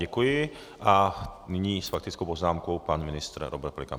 Děkuji a nyní s faktickou poznámkou pan ministr Robert Pelikán.